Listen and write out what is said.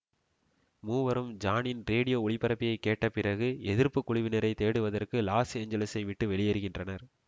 மூவரும் ஜானின் ரேடியோ ஒலிபரப்பைக் கேட்டபிறகு எதிர்ப்புக்குழுவினரைத் தேடுவதற்கு லாஸ் ஏஞ்சல்ஸை விட்டு வெளியேறுகின்றனர்